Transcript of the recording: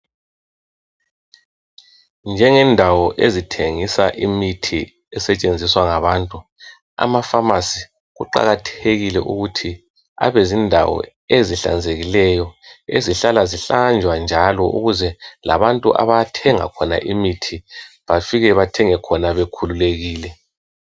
Njengendawo ezithengisa imithi esetshenziswa ngabantu, amafamasi kuqakathekile ukuthi abe zindawo ezihlanzekileyo ezihlala zihlanjwa njalo ukuze labantu abathenga khona imithi bafike bathenge khona bekhululekile.